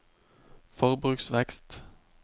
forbruksvekst